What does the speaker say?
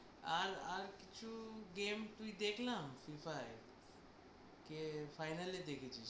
আর আর কিছু game তুই দেখলাম FIFA এ কে final এ দেখেছিস।